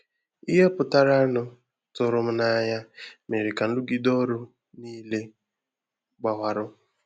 Ìhè pụtara nụ tụrụ m n'anya mèrè ka nrụgide ọrụ nile gbawarụ